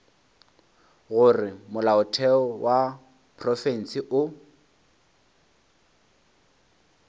gore molaotheo wa profense o